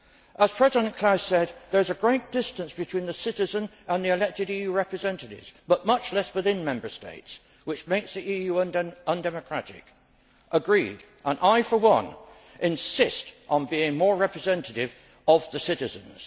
As President Klaus said, there is a great distance between the citizen and elected EU representatives, but much less within Member States, which makes the EU undemocratic. I agree, and I for one insist on being more representative of the citizens.